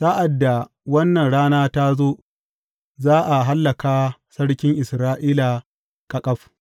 Sa’ad da wannan rana ta zo, za a hallaka sarkin Isra’ila ƙaƙaf.